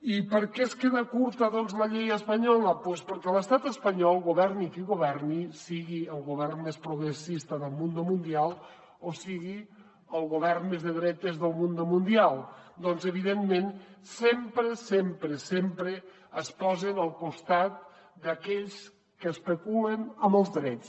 i per què es queda curta doncs la llei espanyola doncs perquè a l’estat espanyol governi qui governi sigui el govern més progressista del mundo mundial o sigui el govern més de dretes del mundo mundial doncs evidentment sempre sempre sempre es posen al costat d’aquells que especulen amb els drets